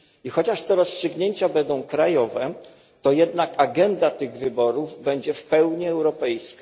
Chociaż te rozstrzygnięcia będą miały charakter krajowy, to jednak agenda tych wyborów będzie w pełni europejska.